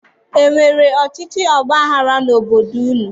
E nwere ọchịchị ọgbaghara n'obodo unu?